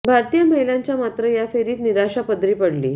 भारतीय महिलांच्या मात्र या फेरीत निराशा पदरी पडली